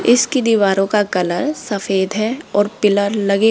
इसकी दीवारों का कलर सफेद है और पिलर लगे--